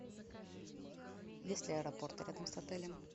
есть ли аэропорты рядом с отелем